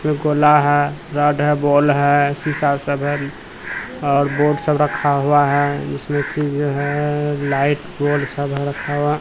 फिर गोला हैं रॉड है बॉल है शीशा सब हैं और बोर्ड सब रखा हुआ हैं इसमें कि जो हैं लाइट बोड सब है रखा हुआ--